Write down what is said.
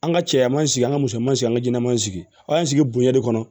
An ka cɛya man sigi an ka musoman sigi an ka jɛnɛman sigi an y'an sigi bonya de kɔnɔ